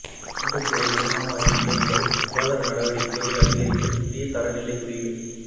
சிங்கப்பூரின் உணவங்காடி நிலையங்கள் சுகாதார நடவடிக்கைகளை அதிகரிக்கப் புதிய தரநிலைக் குறியீடு